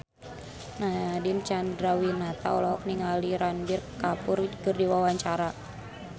Nadine Chandrawinata olohok ningali Ranbir Kapoor keur diwawancara